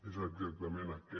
és exactament aquest